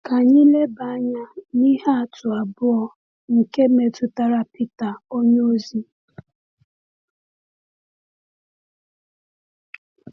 Ka anyị leba anya n’ihe atụ abụọ, nke metụtara Pita onyeozi.